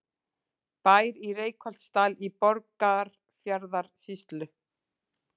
Bær í Reykholtsdal í Borgarfjarðarsýslu.